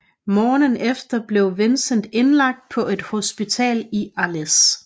Morgenen efter blev Vincent indlagt på et hospital i Arles